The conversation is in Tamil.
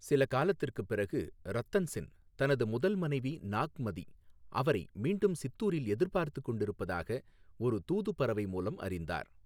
சில காலத்திற்குப் பிறகு, ரத்தன் சென் தனது முதல் மனைவி நாக்மதி அவரை மீண்டும் சித்தூரில் எதிர்பார்த்துக் கொண்டிருப்பதாக ஒரு தூது பறவை மூலம் அறிந்தார்.